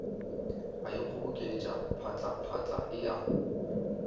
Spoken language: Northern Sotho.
a ikgobokeletša phatlaphatla e a